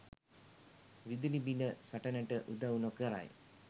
විදුලි බිල සටනට උදව් නොකරයි.